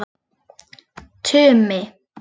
Tumi